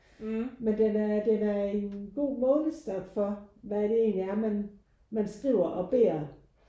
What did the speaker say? Men den er den er en god målestok for hvad det egentlig er man man skriver og beder